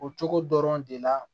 O cogo dɔrɔn de la